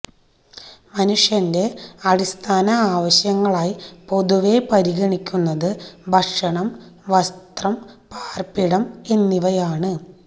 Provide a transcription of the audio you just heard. മനുഷ്യന്റെ അടിസ്ഥാന ആ വശ്യങ്ങളായി പൊതുവെ പരിഗണിക്കുന്നത് ഭക്ഷണം വസ് ത്രം പാര്പ്പിടം എന്നിവയാണ്